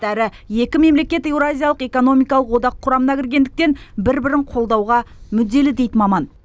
әрі екі мемлекет еуразиялық экономикалық одақ құрамына кіргендіктен бір бірін қолдауға мүдделі дейді маман